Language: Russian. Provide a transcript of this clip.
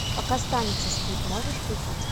пока станица спит можешь включить